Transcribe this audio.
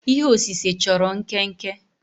ihe osise chọrọ nkenke